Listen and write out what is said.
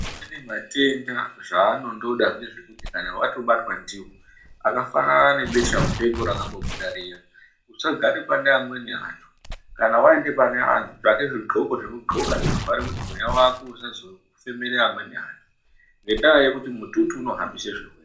Amweni matenda zvaanondoda ngezvekuti kana watobatwa ndiwo akafanana ngebesha-mupengo rakambobuda riya usagare pane amweni antu. Kana waenda pane antu tsvake zvidxoko zvekudxoka zvinovhare kuti mweya wako usazofemere amweni antu. Ngendaa yekuti mututu unohambise zvirwere.